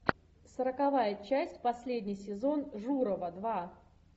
сороковая часть последний сезон журова два